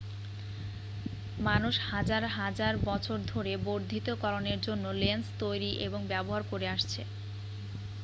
মানুষ হাজার হাজার বছর ধরে বর্ধিতকরণের জন্য লেন্স তৈরি এবং ব্যবহার করে আসছে